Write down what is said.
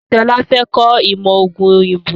Sọlá fẹ́ kọ ìmọ̀ ọógún òyìnbó